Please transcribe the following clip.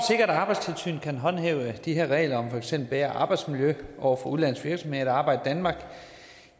at arbejdstilsynet kan håndhæve de her regler om for eksempel bedre arbejdsmiljø over for udenlandske virksomheder der arbejder